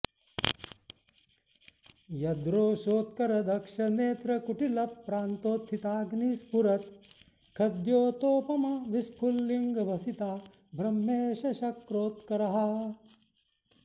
यद्रोशोत्कर दक्ष नेत्र कुटिल प्रान्तोत्थिताग्नि स्फुरत् खद्योतोपम विस्फुलिङ्गभसिता ब्रह्मेशशक्रोत्कराः